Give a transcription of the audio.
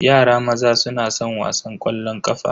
Yara maza suna san wasan ƙwallon ƙafa.